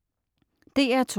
DR2: